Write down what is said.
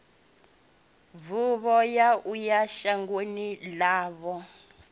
bufho ya uya shangoni ḽavho